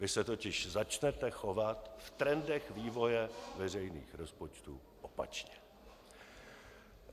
Vy se totiž začnete chovat v trendech vývoje veřejných rozpočtů opačně.